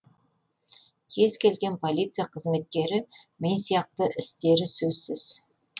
кез келген полиция қызметкері мен сияқты істері сөзсіз